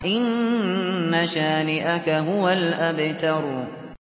إِنَّ شَانِئَكَ هُوَ الْأَبْتَرُ